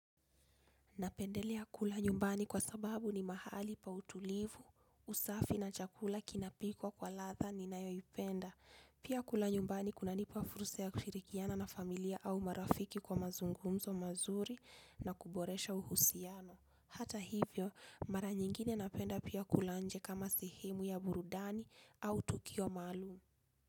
Napendelea kula nyumbani kwa sababu ni mahali pa utulivu, usafi na chakula kinapikwa kwa latha ninayoipenda. Pia kula nyumbani kunanipa fursa ya kushirikiana na familia au marafiki kwa mazungumzo mazuri na kuboresha uhusiano. Hata hivyo, mara nyingine napenda pia kula nje kama sehemu ya burudani au tukio malum.